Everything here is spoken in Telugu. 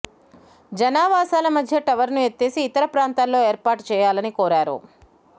జనావాసాల మధ్య టవర్ను ఎత్తేసి ఇతర ప్రాంతాల్లో ఏర్పాటు చేయాలని కోరారు